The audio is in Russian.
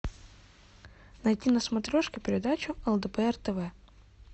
найти на смотрешке передачу лдпр тв